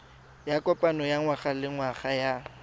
ya kopano ya ngwagalengwaga ya